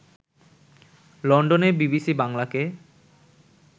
লন্ডনে বিবিসি বাংলাকে